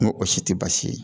N ko o si tɛ baasi ye